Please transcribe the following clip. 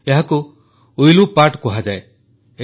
ଏହାକୁ ୱିଲ୍ଲୁ ପାଟ୍ କୁହାଯାଏ